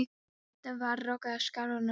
Þetta var roka úr skrækróma karlmanni.